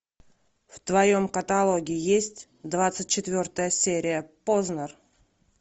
в твоем каталоге есть двадцать четвертая серия познер